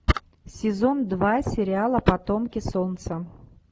сезон два сериала потомки солнца